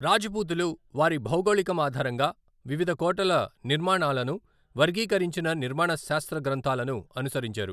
రాజపూతులు వారి భౌగోళికం ఆధారంగా వివిధ కోటల నిర్మాణాలను వర్గీకరించిన నిర్మాణ శాస్త్ర గ్రంథాలను అనుసరించారు.